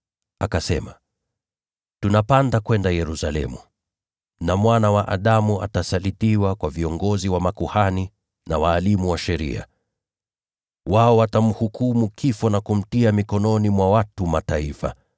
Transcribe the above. Akasema, “Tunapanda kwenda Yerusalemu, na Mwana wa Adamu atasalitiwa kwa viongozi wa makuhani na walimu wa sheria. Wao watamhukumu kifo na kumtia mikononi mwa watu wa Mataifa,